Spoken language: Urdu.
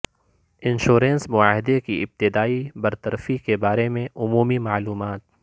انشورنس معاہدے کی ابتدائی برطرفی کے بارے میں عمومی معلومات